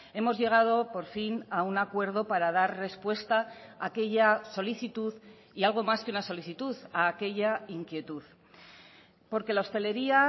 hemos llegado por fin a un acuerdo para dar respuesta a aquella solicitud y algo más que una solicitud a aquella inquietud porque la hostelería